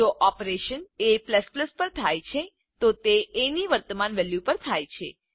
જો operation a પર થાય છે તો તે એ ની વર્તમાન વેલ્યુ પર થાય છે